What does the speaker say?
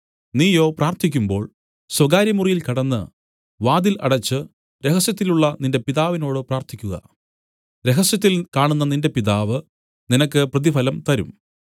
നീയോ പ്രാർത്ഥിക്കുമ്പോൾ സ്വകാര്യമുറിയിൽ കടന്നു വാതിൽ അടച്ചു രഹസ്യത്തിലുള്ള നിന്റെ പിതാവിനോട് പ്രാർത്ഥിക്കുക രഹസ്യത്തിൽ കാണുന്ന നിന്റെ പിതാവ് നിനക്ക് പ്രതിഫലം തരും